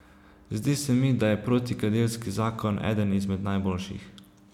Zdi se mi, da je protikadilski zakon eden izmed najboljših.